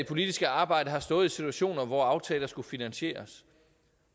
politiske arbejde har stået i situationer hvor aftaler skulle finansieres